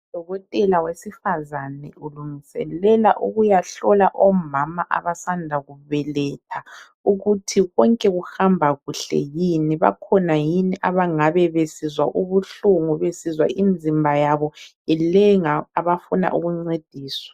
Udokotela wesifazana ulungiselela ukuyahlola omama abasanda kubelatha, ukuthi konke kuhamba kuhle yini bakhona yini abangane besizwa ubuhlungu besizwa imizimba yabo ilenga abafunda ukuncediswa.